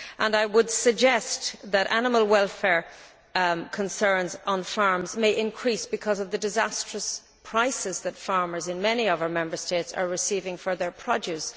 I would suggest that animal welfare concerns on farms may increase because of the disastrous prices that farmers in many of our Member States are being paid for their produce.